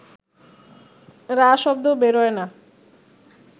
রা শব্দ বেরোয় না